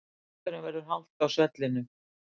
Einhverjum verður halt á svellinu